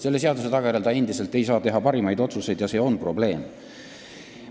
Selle seaduse tagajärjel ei saa ta endiselt teha parimaid otsuseid ja see on probleem.